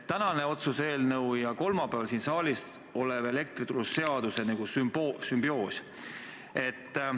Tänane otsuse eelnõu ja kolmapäeval siin saalis arutusel olev elektrituruseadus on nagu sümbioosis.